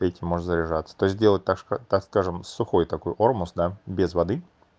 может заряжаться то сделать так что такое сухой такой аргус да без воды